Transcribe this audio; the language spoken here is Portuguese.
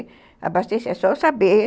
Abastecer, é só eu saber.